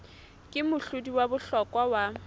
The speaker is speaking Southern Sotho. ke mohlodi wa bohlokwa wa